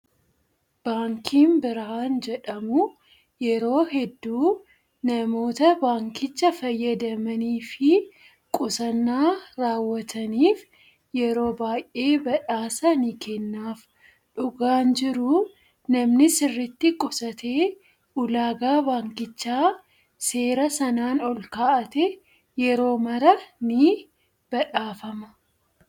Baankiin birhaan jedhamu yeroo hedduu namoota baankicha fayyadamanii fi qusannaa raawwataniif yeroo baay'ee badhaasa ni kennaaf. Dhugaan jiru namni sirriitti qusatee ulaagaa baankichaa seera sanaan ol kaa'ate yeroo maraa ni badhaafama.